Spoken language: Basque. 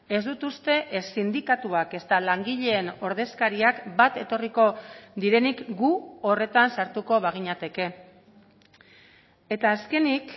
ez dut uste ez sindikatuak ezta langileen ordezkariak bat etorriko direnik gu horretan sartuko baginateke eta azkenik